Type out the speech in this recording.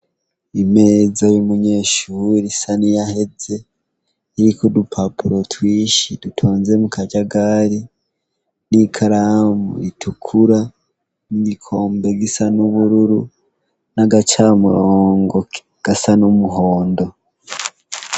imeza y'umunyeshure isa niyaheze iriko udupapuro twinshi dutonze mu kajagari n'ikaramu ritukura n'igikombe gisa n'ubururu n'agacamurongo gasa n'umuhondo